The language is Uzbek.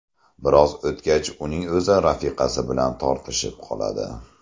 Biroz o‘tgach uning o‘zi rafiqasi bilan tortishib qoladi.